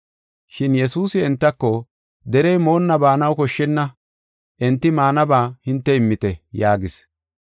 Shin Yesuusi entako, “Derey moonna baanaw koshshenna; enti maanaba hinte immite” yaagis.